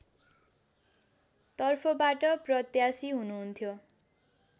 तर्फबाट प्रत्यासी हुनुहुन्थ्यो